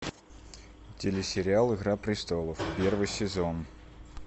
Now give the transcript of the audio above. телесериал игра престолов первый сезон